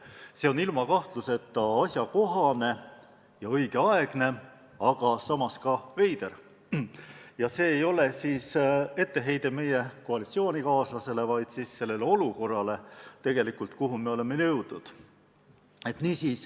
See on kahtlemata asjakohane ja õigeaegne, aga samas ka veider – see ei ole etteheide meie koalitsioonikaaslasele, vaid tegelikult sellele olukorrale, kuhu me oleme jõudnud.